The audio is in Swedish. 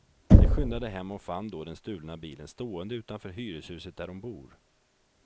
De skyndade hem och fann då den stulna bilen stående utanför hyreshuset där de bor.